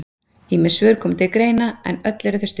Ýmis svör koma til greina en öll eru þau stutt.